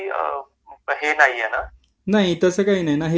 नाही तसं काही नाही सगळं कॅशलेस पण होऊ शकतं